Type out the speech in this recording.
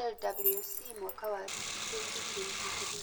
rwc mwaka wa 2023.